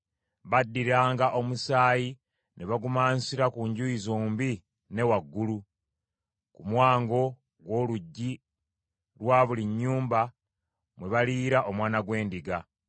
Baddiranga omusaayi ne bagumansira ku njuyi zombi ne waggulu, ku mwango gw’oluggi lwa buli nnyumba mwe baliriira omwana gw’endiga.